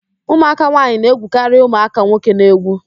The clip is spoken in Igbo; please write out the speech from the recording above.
Ụmụaka nwaanyị na-egwukarị ụmụaka nwoke n'egwu